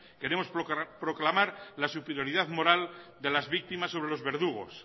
queremos proclamar la superioridad moral de las víctimas sobre los verdugos